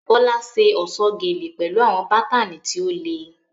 Bola ṣe ọ̀ṣọ́ gele pẹ̀lú àwọn bátánì tí ó le.